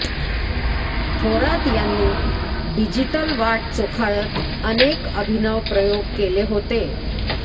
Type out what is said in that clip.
थोरात यांनी डिजिटल वाट चोखाळत अनेक अभिनव प्रयोग केले होते